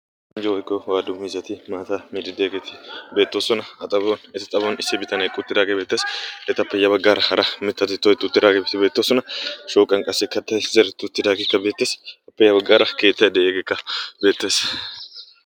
anjja oyggo waalu mizati maataa miriddeegeetii beettoosona. a xabuwon eta xabuwan issi bitanee quttiraagee beettassi etappe ya baggaara hara mittati toytuttiraagee biitii beettoosona. shooqan qassi kattay zeretidaageekka beettees. appe ya baggaara keettay de'ees. hegeekka beettees.